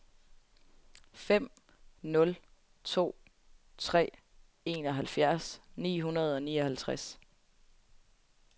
fem nul to tre enoghalvfjerds ni hundrede og nioghalvtreds